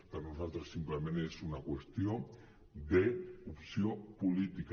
per nosaltres simplement és una qüestió d’opció política